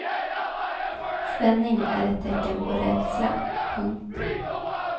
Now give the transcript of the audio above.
Spänning är ett tecken på rädsla. punkt